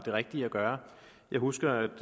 rigtige at gøre jeg husker